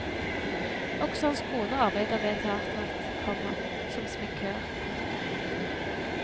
Også hans kone arbeider ved teatret, komma som sminkør. punktum